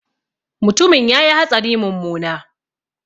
Mutumin ya yi hatsari mummuna